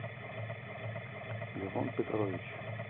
левон петрович